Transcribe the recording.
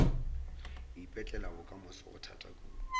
ipetlela bokamoso go thata kudu